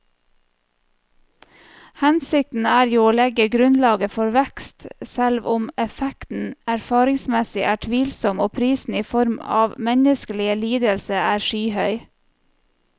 Hensikten er jo å legge grunnlaget for vekst, selv om effekten erfaringsmessig er tvilsom og prisen i form av menneskelige lidelser er skyhøy.